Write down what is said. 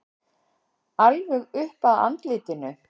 Alveg upp að andlitinu.